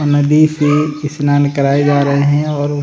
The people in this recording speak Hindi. नदी से स्नान कराए जा रहे है और --